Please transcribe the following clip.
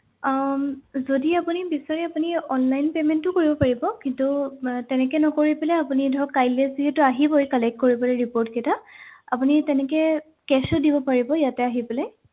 আহ যদি আপুনি বিছাৰে আপুনি online payment ও কৰিব পাৰিব কিন্তু আহ তেনেকে নকৰি পেলাই আপুনি ধৰক কাইলৈ যিহেতু আহিবই collect কৰিবলে report কেইটা আপুনি তেনেকে cash ও দিব পাৰিব ইয়াতে আহি পেলাই